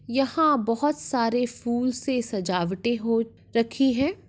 यहाँं बहोत सारे फूल से सजावटें हो रखी हैं।